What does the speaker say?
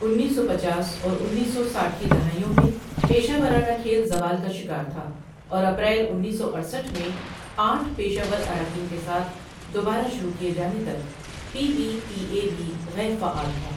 انیس سو پچاس اور انیس سو ساٹھ کی دہائیوں میں پیشہ ورانہ کھیل زوال کا شکار تھا اور اپریل انیس سو اڑسٹھ میں آٹھ پیشہ ور اراکین کے ساتھ دوبارہ شروع کیے جانے تک پی بی پی اے بھی غیر فعال تھا۔